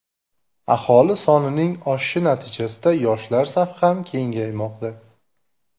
Aholi sonining oshishi natijasida yoshlar safi ham kengaymoqda.